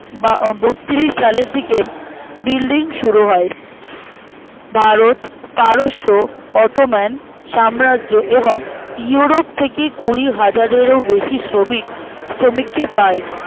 বা আঃ বত্রিশ সালের দিকে building শুরু হয় ভারত পারস্য automan সাম্রাজ্য এবং ইউরোপ থেকে কুড়িহাজারেরও বেশি শ্রমিক শ্রমিকে পায়